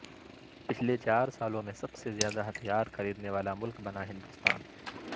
پچھلے چار سالوں میں سب سے زیادہ ہتھیار خریدنے والا ملک بنا ہندوستان